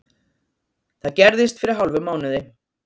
Það gerðist fyrir hálfum mánuði